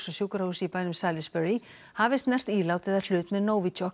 á sjúkrahúsi í bænum Salisbury hafi snert ílát eða hlut með